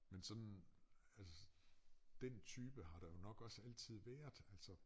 Men sådan altså den type har der jo nok også altid været altså